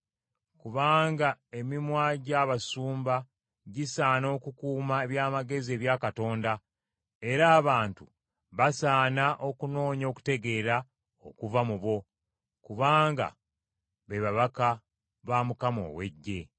“Kubanga emimwa gy’abasumba gisaana okukuuma eby’amagezi ebya Katonda era abantu basaana okunoonya okutegeera okuva mu bo, kubanga be babaka ba Mukama ow’Eggye.